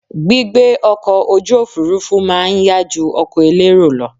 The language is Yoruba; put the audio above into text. Gbígbé ọkọ̀ ojú òfurufú má a nyá ju ọkọ̀ elérò lọ